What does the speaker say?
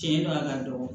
Cɛn do a ka dɔgɔ